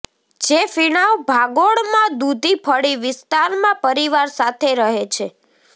જે ફીણાવ ભાગોળમાં દૂધી ફળી વિસ્તારમાં પરિવાર સાથે રહે છે